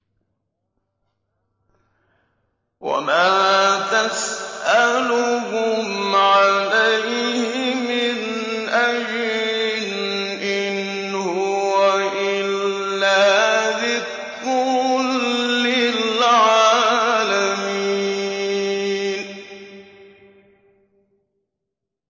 وَمَا تَسْأَلُهُمْ عَلَيْهِ مِنْ أَجْرٍ ۚ إِنْ هُوَ إِلَّا ذِكْرٌ لِّلْعَالَمِينَ